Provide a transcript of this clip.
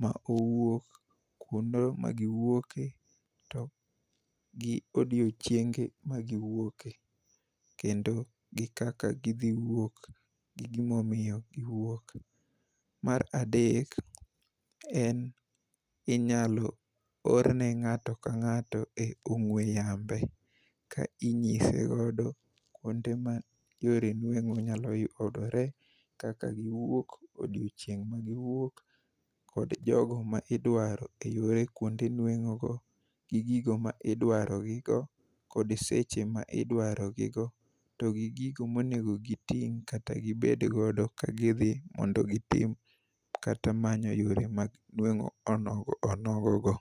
ma owuok, kuno magiwuoke, to gi odiochienge magiwuoke. Kendo gikaka gidhiwuok gi gimomiyo giwuok. Mar adek, en inyalo orne ng'ato ka ng'ato e ong'we yambe ka inyise godo kuonde ma yore nueng'o nyalo yudore kaka giwuok, odiochieng' magiwuok kod jogo ma idwaro e yore kuonde nueng'ogo gi gigo ma idwarogigo kod seche ma idwarogigo to gigo monego giting' kata gibeddgodo ka gidhi mondo gitim kata manyo yore mag nueng'o onogo onogo go.